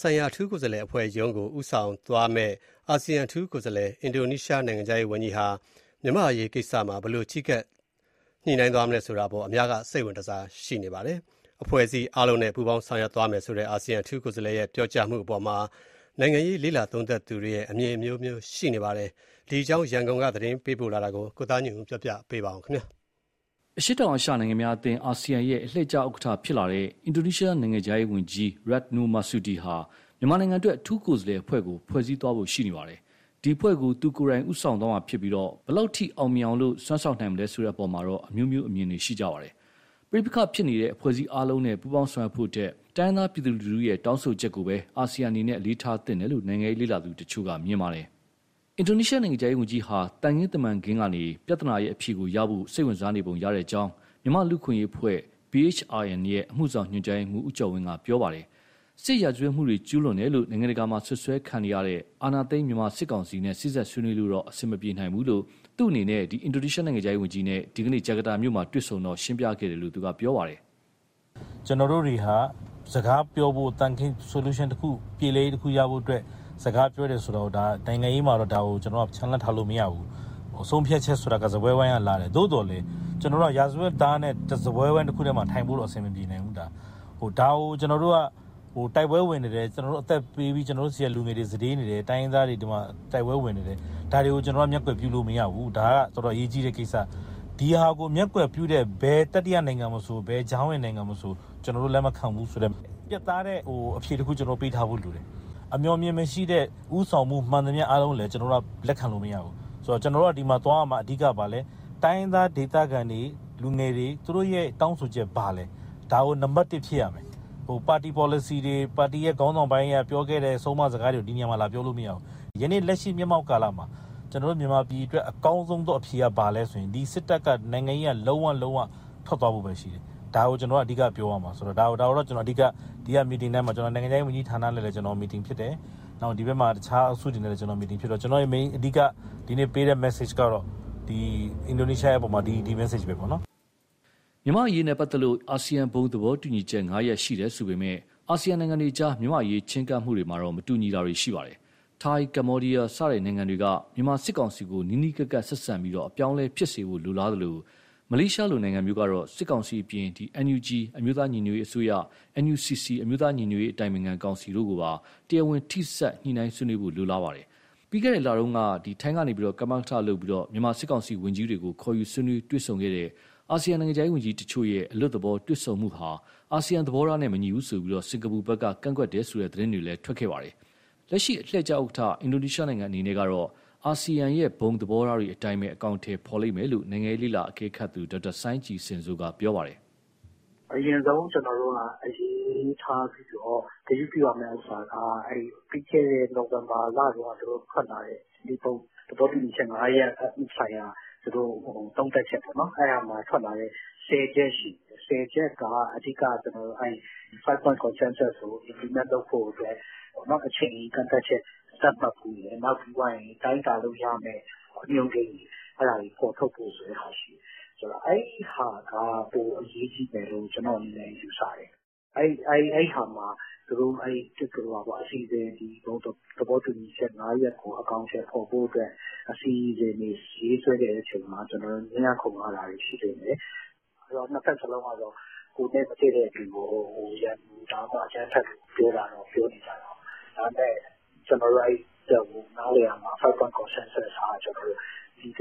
ဆိုင်ရာအထူးကိုယ်စားလှယ်အဖွဲ့ရုံးကို ဦးဆောင်သွားမယ့် အာဆီယံ အထူးကိုယ်စားလှယ်၊ အင်ဒိုနီးရှား နိုင်ငံခြားရေးဝန်ကြီးဟာ မြန်မာ့အရေးကိစ္စမှာ ဘယ်လိုချဉ်းကပ် ညှိနှိုင်းသွားမလဲဆိုတာ အများက စိတ်ဝင်တစား ရှိနေကြပါတယ်။ အဖွဲ့အစည်းအားလုံးနဲ့ ပူးပေါင်းဆောင်ရွက်သွားမယ်ဆိုတဲ့ အာဆီယံ အထူးကိုယ်စားလှယ်ရဲ့ ပြောကြားမှုအပေါ်မှာ နိုင်ငံရေး လေ့လာသုံးသပ်သူရဲ့ အမြင်အမျိုးမျိုး ရှိနေပါတယ်။ ဒီအကြောင်း ရန်ကုန်ကသတင်းပေးပို့တာကို ကိုသားညွန့်ဦး ပြောပြမှာပါ။ အရှေ့တောင်အာရှ နိုင်ငံများအသင်း အာဆီယံရဲ့ အလှည့်ကျဥက္ကဋ္ဌဖြစ်လာတဲ့ အင်ဒိုနီးရှားနိုင်ငံရဲ့ နိုင်ငံခြားရေးဝန်ကြီး Retno Marsudi ဟာ မြန်မာနိုင်ငံအတွက် အထူးကိုယ်စားလှယ်အဖွဲ့ကို ဖွဲ့စည်းသွားဖို့ ရှိနေပါတယ်။ ဒီအဖွဲ့ကို သူကိုယ်တိုင် ဦးဆောင်သွားမှာဖြစ်ပြီး ဘယ်လောက်အထိ အောင်မြင်အောင် စွမ်းဆောင်နိုင်မလဲ ဆိုတဲ့အပေါ်မှာ အမျိုးမျိုး အမြင်ရှိကြပါတယ်။ ပဋိပက္ခဖြစ်ပွားနေတဲ့ အဖွဲ့အစည်းအားလုံးနဲ့ ပူးပေါင်းဆောင်ရွက်ဖို့ထက် တိုင်းရင်းသား ပြည်သူလူထုရဲ့ တောင်းဆိုချက်ကိုသာ အာဆီယံအနေနဲ့ အလေးထားသင့်တယ်လို့ နိုင်ငံရေး လေ့လာသူတချို့က မြင်ပါတယ်။ အင်ဒိုနီးရှား နိုင်ငံခြားရေးဝန်ကြီးဟာ သံခင်းတမန်ခင်းကနေ ပြဿနာရဲ့ အဖြေကိုရဖို့ စိတ်ဝင်စားနေပုံရကြောင်း မြန်မာ့လူ့အခွင့်အရေးအဖွဲ့ BHRN ရဲ့ အမှုဆောင် ညွှန်ကြားရေးမှူး ဦးကျော်ဝင်းက ပြောပါတယ်။ စစ်ရာဇဝတ်မှုတွေကျူးလွန်တယ်လို့ နိုင်ငံတကာမှာစွပ်စွဲခံနေရတဲ့ အောဏာသိမ်းမြန်မာစစ်ကောင်စီနဲ့ စေ့စပ်ဆွေးနွေးလို့တော့ အဆင်မပြေနိုင်ဘူးလို့ သူ့အနေနဲ့ အင်ဒိုနီးရှားနိုင်ငံခြားရေးဝန်ကြီးနဲ့ ဒီကနေ့ ဂျကာတာမြို့မှာ တွေ့ဆုံစဉ် ဦးကျော်ဝင်းက ရှင်းပြခဲ့တယ်လို့ ပြောပါတယ်။ "ကျနော်တို့တွေဟာ စကားပြောဖို့၊ Solution တခု ပြေလည်ရေးရဖို့အတွက် စကားပြောရတယ် ဆိုတာကို နိုင်ငံရေးမှာ ချန်လှပ်ထားလို့ မရဘူး၊ ဆုံးဖြတ်ချက်ဆိုတာ စားပွဲဝိုင်းကလာတယ်။ သို့သော်လည်း ကျနော်တို့က ရာဇဝတ်သားနဲ့ စားပွဲဝိုင်းတခုတည်းမှာ ထိုင်ဖို့တော့ အဆင်မပြေနိုင်ဘူး။ အသက်ပေးပြီး ကျနော်တို့ဆီက လူငယ်တွေ စတေးနေတယ်၊ တိုင်းရင်းသားတွေ တိုက်ပွဲဝင်နေတယ် ဒါတွေကို ကျနော်တို့က မျက်ကွယ်ပြုလို့ မရဘူး။ ဒါကတော်တော် အရေးကြီးတဲ့ကိစ္စ။ ဒါကိုမျက်ကွယ်ပြုတဲ့ ဘယ်တတိယနိုင်ငံမဆို၊ ဘယ်ကြားဝင်နိုင်ငံမဆို ကျနော်တို့ လက်မခံဘူးဆိုတဲ့ ပြတ်သားတဲ့ အဖြေတခု ပေးထားဖို့လိုတယ်။ အမြော်အမြင်မရှိတဲ့ ဦးဆောင်မှု မှန်သမျှ အားလုံးကိုလည်း လက်ခံလို့မရဘူး။ တိုင်းရင်းသားဒေခံတွေ၊ လူငယ်တွေ သူတို့ရဲ့ တောင်းဆိုချက်က ဘာလဲ၊ ဒါကိုနံပတ်တစ် ဖြစ်ရမယ်။ ပါတီပေါ်လစီတွေ၊ ပါတီခေါင်းဆောင်ပိုင်းက ပြောခဲ့တဲ့ ဆုံးမစကားတွေကို ဒီနေရာမှာ လာပြောလို့မရဘူး။ ယနေ့လက်ရှိ မျက်မှောက်ကာလမှာ မြန်မာပြည်အတွက် အကောင်းဆုံအဖြေက ဘာလဲဆိုရင် စစ်တပ်က နိုင်ငံရေးက လုံးဝ၊ လုံးဝ ထွက်သွားဖို့ပဲရှိတယ်။ ဒါကို ကျနော်တို့က အဓိကပြောရမှာ။ ဒါကို ဒီက meeting ထဲမှာ၊ နိုင်ငံခြားရေးဝန်ကြီးနဲ့လည်း meeting ဖြစ်တယ်၊ တခြား အုပ်စုတွေနဲ့လည်း meeting ဖြစ်တော့ ကျနော့ရဲ့ အဓိက ဒီနေ့ပေးတဲ့ message ကတော့ အင်ဒိုနီးရှားရဲ့အပေါ်မှာ ဒီ message ပဲပေါ့နော်။" မြန်မာ့အရေးနဲ့ပတ်သက်လို့ အာဆီယံဘုံသဘောတူညီချက် ၅ ရပ် ရှိတယ်ဆိုပေမယ့်၊ အာဆီယံနိုင်ငံတွေအကြား မြန်မာ့အရေးချည်းကပ်မှုမှာ မတူညီတာတွေရှိပါတယ်။ ထိုင်း၊ ကမ္ဘောဒီယား စတဲ့နိုင်ငံတွေက မြန်မာစစ်ကောင်စီကို နီးနီးကပ်ကပ်ဆက်ဆံပြီး အပြောင်းအလဲဖြစ်စေဖို့ လိုလားသလို၊ မလေးရှားလို နိုင်ငံမျိုးကတော့ စစ်ကောင်စီအပြင် NUG အမျိုးသားညီညွတ်ရေးအစိုးရ၊ NUCC အမျိုးသားညီညွတ်ရေးအတိုင်ပင်ခံကောင်စီတို့ကိုပါ တရားဝင်ထိစပ် ညှိုနှိုင်းဆွေးနွေးဖို့ လိုလားပါတယ်။ ပြီးခဲ့တဲ့လကတုန်းက ထိုင်းက ကမကထလုပ်ပြီး မြန်မာစစ်ကောင်စီဝန်ကြီးတွေကို ခေါ်ယူဆွေးနွေးတွေ့ဆုံတဲ့ အာဆီယံနိုင်ငံခြားရေးဝန်ကြီးတချို့ရဲ့ အလွတ်သဘောတွေ့ဆုံမှုဟာ အာဆီယံသဘောထားနဲ့မညီဘူးဆိုပြီး စင်ကာပူဖက်က ကန့်ကွက်တယ်ဆိုတဲ့ သတင်းတွေ ထွက်လာခဲ့ပါတယ်။ လက်ရှိ အလှည့်ကျဥက္ကဌ အင်ဒိုနီးရှားနိုင်ငံအနေနဲ့ကတော့ အာဆီယံဘုံသဘောထားတွေအတိုင်းပဲ အကောင်အထည်ဖော်လိမ့်မယ်လို့ နိုင်ငံရေးလေ့လာအကဲခတ်သူ ဒေါက်တာစိုင်းကြည်ဇင်စိုးက ပြောပါတယ်။ " အရင်ဆုံး အလေးထားပြီးတော့ ဂရုပြုရမယ့်ဥစ္စာက ပြီးခဲ့တဲ့ နိုဝင်ဘာလတုန်းက ဘုံသဘောတူညီချက် ငါးရပ်ဆိုင်ရာ သုံးသပ်ချက်ပေါ့နော် ဆယ်ချက်ရှိတယ်၊ ဆယ်ချက်က အဓိက ဘုံသဘောတူညီချက်ကို အကောင်အထည်ဖော်လုပ်ဖို့အတွက် အချိန်ကန့်သတ်ချက် သတ်မှတ်ဖို့၊ ပြီးရင် တိုင်းတာလို့ရမယ့် အညွန်းကိန်းတွေ အဲဒါတွေ ဖော်ထုတ်ဖို့ဆိုတဲ့ဟာ ရှိတယ်။ အဲဒီဟာက ပိုအရေးကြီးမယ်လို့ ကျနော့အနေနဲ့ ယူဆတယ်။ အဲဒီမှာ သူတို့ဘုံသဘောတူညီချက် ငါးရပ်ကို အကောင်အထည် ဖော်ဖို့အတွက် အစီအစဉ်တွေ ရေးဆွဲတဲ့အချိန်မှာ ငြင်းရခုံရတာတွေ ရှိလိမ့်မယ်၊ နှစ်ဘက်လုံးကတော့ ကိုယ်နဲ့မတည့်တဲ့သူကို ရန်သူ၊ အကြမ်းဖက်လို့ ပြောနေကြတာပဲ၊ ဒါပေမဲ့ ကျနော်တို့ နားလည်ရမှာက five-point consensus ဟာ ပြည်တွ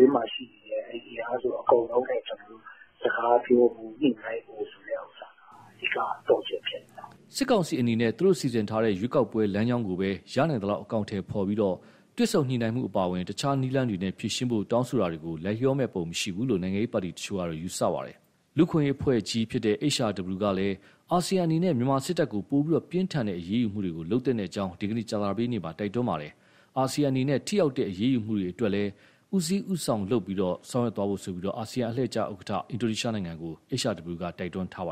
င်းမှာရှိနေတဲ့ အင်အားစုအကုန်လုံးနဲ့ စကားပြောဖို့ ညှိနှိုင်းဖို့ဆိုတဲ့ အဓိကသော့ချက် ဖြစ်နေတယ်။" စစ်ကောင်စီအနေနဲ့ သူတို့စီစဉ်ထားတဲ့ ရွေးကောက်ပွဲလမ်းကြောင်းကိုပဲ ရနိုင်သလောက် အကောင်အထည်ဖော်ပြီး၊ တွေ့ဆုံညှိုနှိုင်းရေးအပါအဝင် တခြားနည်းလမ်းတွေနဲ့ ဖြေရှင်းဖို့ တောင်းဆိုတာတွေကို လိုက်လျောမယ့်ပုံ မရှိဘူးလို့ နိုင်ငံရေးပါတီတချို့က ယူဆပါတယ်။ လူ့အခွင့်အရေးအဖွဲ့ကြီး HRW ကလည်း အာဆီယံအနေနဲ့ မြန်မာစစ်တပ်ကို ပိုပြီးပြင်းထန်တဲ့ အရေးယူမှုတွေကို လုပ်သင့်ကြောင်း ဒီနေ့ ကြာသပတေးနေ့မှာ တိုက်တွန်းလိုက်ပါတယ်။ အာဆီယံအနေနဲ့ ထိရောက်တဲ့ အရေးယူမှုတွေ အတွက်လည်း ဦးစီးဦးရွက်လုပ်ဖို့ အာဆီယံအလှည့်ကျ ဥက္ကဋ္ဌ အင်ဒိုနီးရှားနိုင်ငံကို HRW က တိုက်တွန်းထားပါတယ်